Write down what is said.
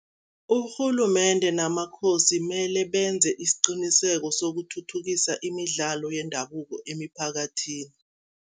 Urhulumende namaKhosi mele benze isiqiniseko sokuthuthukisa imidlalo yendabuko emiphakathini.